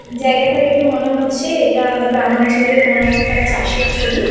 জায়গাটা দেখে মনে হচ্ছে এটা গ্রাম অঞ্চলে কোনো একটা চাষের ছবি।